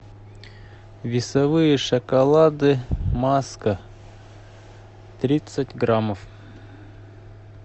весовые шоколады маска тридцать граммов